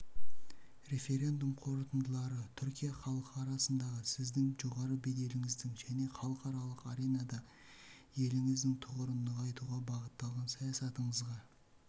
референдум қорытындылары түркия халқы арасындағы сіздің жоғары беделіңіздің және халықаралық аренада еліңіздің тұғырын нығайтуға бағытталған саясатыңызға